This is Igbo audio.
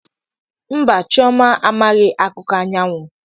Mba chioma amaghi akuko anyawu.